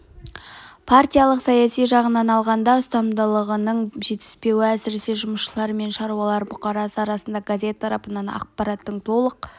партиялық-саяси жағынан алғанда ұстамдылығының жетіспеуі әсіресе жұмысшылар мен шаруалар бұқарасы арасында газет тарататын аппараттың толық